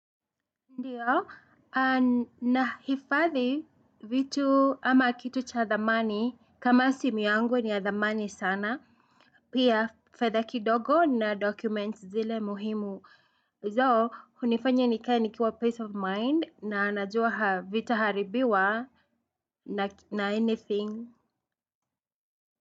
Ndio, na hifadhi vitu ama kitu cha thamani, kama simu yangu ni ya thamani sana, pia fedha kidogo na 'documents' zile muhimu. Zo hunifanya nikae nikiwa 'peace of mind' na najua havitaharibiwa na 'anything'.